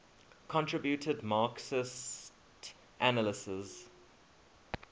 contributed marxist analyses